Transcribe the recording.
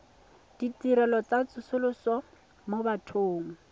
ditirelo tsa tsosoloso mo bathong